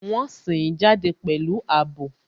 Wọn sìn ín jáde pẹ̀lú àbò